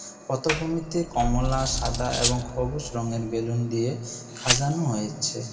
পতভূমিতে কমলা সাদা এবং খবুজ রংয়ের বেলুন দিয়ে খাজানো হয়েছে।